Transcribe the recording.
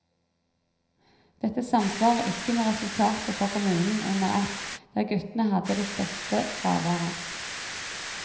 Dette samsvarer ikke med resultatet for kommunen under ett, der guttene hadde det største fraværet.